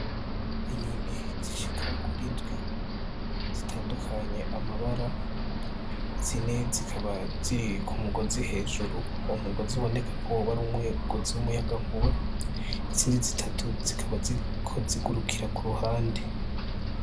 Inyoni zishika kuri ndwi zitandukanye amabara , zine zikaba ziri ku mugozi hejuru , uwo mugozi uboneka ko woba ari umugozi w’umuyagankuba , izindi zitatu zikaba ziriko zigurukira ku ruhande.